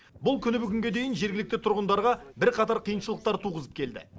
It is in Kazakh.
бұл күні бүгінге дейін жергілікті тұрғындарға бірқатар қиыншылық туғызып келді